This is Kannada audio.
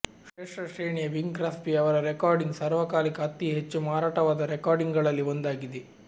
ಶ್ರೇಷ್ಠ ಶ್ರೇಣಿಯ ಬಿಂಗ್ ಕ್ರಾಸ್ಬಿ ಅವರ ರೆಕಾರ್ಡಿಂಗ್ ಸಾರ್ವಕಾಲಿಕ ಅತಿ ಹೆಚ್ಚು ಮಾರಾಟವಾದ ರೆಕಾರ್ಡಿಂಗ್ಗಳಲ್ಲಿ ಒಂದಾಗಿದೆ